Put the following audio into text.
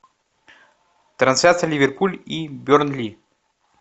трансляция ливерпуль и бернли